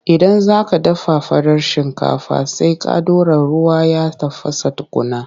Idan za ka dafa farar shinkafa, sai ka ɗora ruwa ya tafasa tukunna.